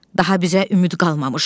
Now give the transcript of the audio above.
Daha bizə ümid qalmamış.